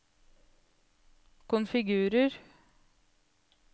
konfigurer